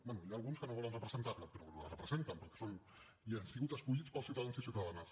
bé hi ha alguns que no volen representar la però la representen perquè són i han sigut escollits pels ciutadans i ciutadanes